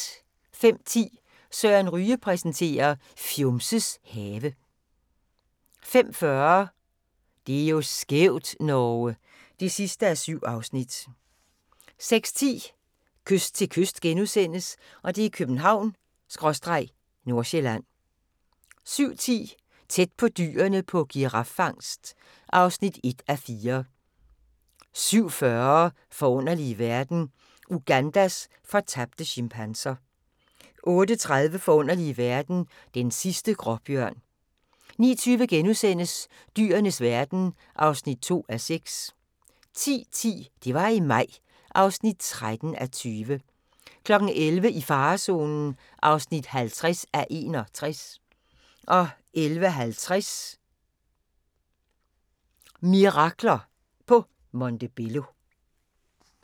05:10: Søren Ryge præsenterer: Fjumses have 05:40: Det er jo skævt, Norge! (7:7) 06:10: Kyst til kyst - København/Nordsjælland (2:8)* 07:10: Tæt på dyrene på giraffangst (1:4) 07:40: Forunderlige verden – Ugandas fortabte chimpanser 08:30: Forunderlige verden - Den sidste gråbjørn 09:20: Dyrenes verden (2:6)* 10:10: Det var i maj (13:20) 11:00: I farezonen (50:61) 11:50: "Mirakler" på Montebello